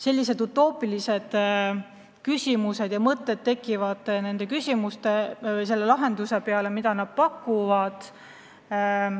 Sellised utoopilised küsimused ja mõtted tekivad selle lahenduse pakkumise peale.